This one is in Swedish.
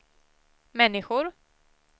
människor